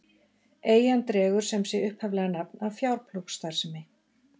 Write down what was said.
Eyjan dregur sem sé upphaflega nafn af fjárplógsstarfsemi.